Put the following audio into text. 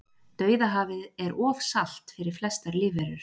dauðahafið er of salt fyrir flestar lífverur